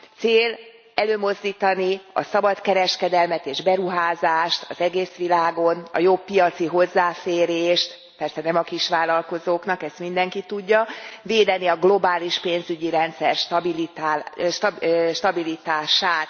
Cél előmozdítani a szabadkereskedelmet és beruházást az egész világon, a jobb piaci hozzáférést, persze nem a kisvállalkozóknak, ezt mindenki tudja, védeni a globális pénzügyi rendszer stabilitását.